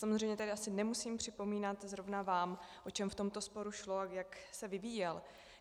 Samozřejmě tady asi nemusím připomínat zrovna vám, o čem v tomto sporu šlo a jak se vyvíjel.